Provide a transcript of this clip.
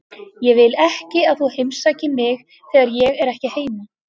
Ég vil ekki að þú heimsækir mig þegar ég er ekki heima.